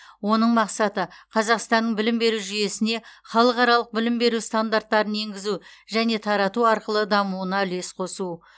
оның мақсаты қазақстанның білім беру жүйесіне халықаралық білім беру стандарттарын енгізу және тарату арқылы дамуына үлес қосу